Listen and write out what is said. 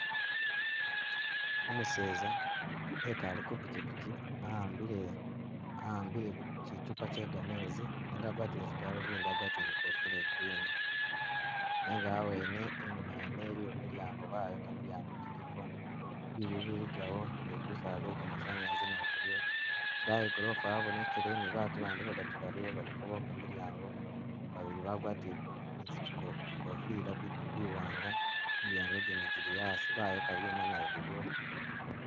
Umuseza ekale ku pichipichi, a'ambile- a'ambile kyichupa kye gamezi nenga agwatile zigalubindi agwatile ni ikofila iya green, nenga awene inyuma ene iliyo milyango bayoka milyango giliko, biyu biligawo, ni gusaala gwe gamasanyalaze nagwo guliwo, idayi i gorofa yabonekele ni batu bandi badatu baliwo baliko boka milyango, babili bagwatile zi- bi- bi kofila biwanga, milyango gindi jili asi bayoka byuma nabyo biliwo.